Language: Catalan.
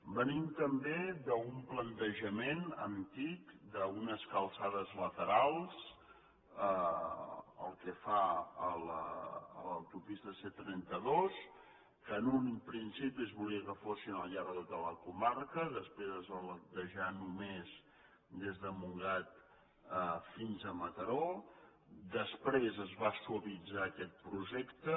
venim també d’un plantejament antic d’unes calçades laterals pel que fa a l’autopista c trenta dos que en un principi es volia que fossin al llarg de tota la comarca després es va plantejar només des de montgat fins a mataró després es va suavitzar aquest projecte